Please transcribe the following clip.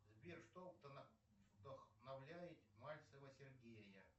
сбер что вдохновляет мальцева сергея